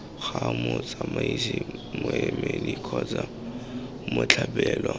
ga motsamaisi moemedi kgotsa mothapiwa